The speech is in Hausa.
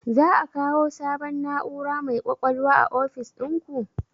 Za a kawo sabon na'ura mai ƙwaƙwalwa a ofis ɗinku?